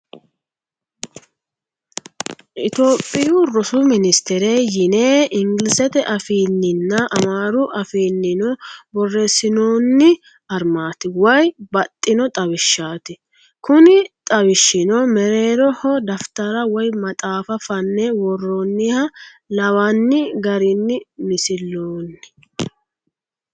Itiyoophiyu rosu ninisitire yine ingilizete afiinninna amaaru afiinnino borreessinoonni armaati woyi baxxino xawishshaati. Kuni xawishshino mereeroho dafittara woyi maxaaffa fanne worroonniha lawanni garinni misilloonni.